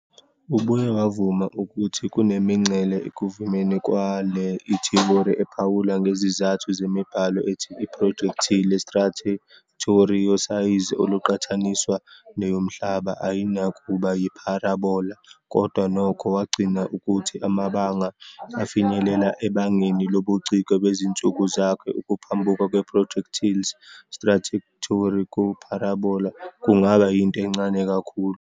Ubuye wavuma ukuthi kunemingcele ekuvumeni kwale le ithiyori, ephawula ngezizathu zemibhalo ethi i-projectile trajectory yosayizi oluqhathaniswa neyoMhlaba ayinakuba yi-parabola, kodwa nokho wagcina ukuthi amabanga afinyelela ebangeni lobuciko bezinsuku zakhe, ukuphambuka kwe-projectile's trajectory ku-parabola kungaba yinto encane kakhulu.